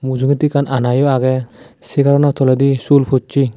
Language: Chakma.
mujungedi ekkan anayo aagey seegarano toledi sul poshey.